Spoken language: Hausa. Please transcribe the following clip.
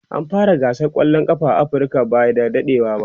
an fara gasar kwallan kafa na Africa by da dadewa